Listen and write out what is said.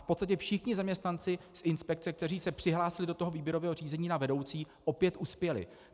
V podstatě všichni zaměstnanci z inspekce, kteří se přihlásili do toho výběrového řízení na vedoucí, opět uspěli.